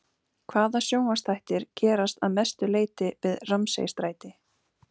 Hvaða sjónvarpsþættir gerast að mestu leyti við Ramsay-stræti?